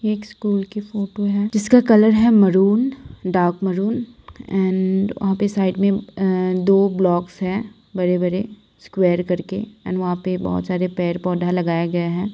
ये एक स्कूल की फोटो है जिसका कलर है मैरून डार्क मैरून एंड वहाँ पे साइड में दो ब्लोक्स है बड़े-बड़े स्क्वायर करके एंड वहाँ पे बहुत सारे पेड़-पौधा लगाया गया है।